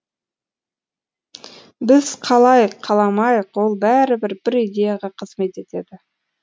біз қалайық қаламайық ол бәрібір бір идеяға қызмет етеді